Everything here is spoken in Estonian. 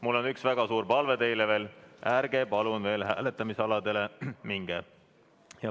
Mul on üks väga suur palve teile veel: ärge palun veel hääletamisaladele minge.